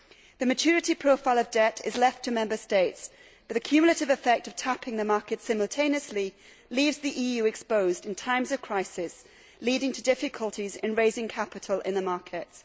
The maturity profile of debt is left to Member States, but the cumulative effect of tapping the market simultaneously leaves the EU exposed in times of crisis, leading to difficulties in raising capital in the markets.